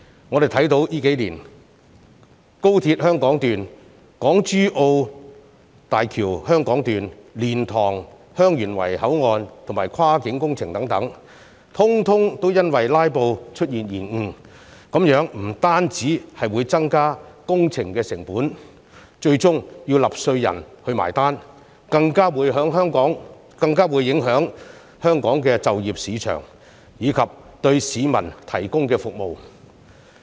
我們看到這數年高鐵香港段、港珠澳大橋香港段、蓮塘/香園圍口岸等跨境工程，全部因為"拉布"出現延誤，這樣不但會增加工程成本，最終要納稅人"埋單"，更會影響香港的就業市場，以及對市民提供的服務。